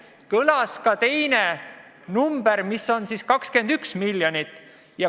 Kõlas ka teine number, mis oli 21 miljonit.